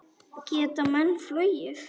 Geta menn flogið?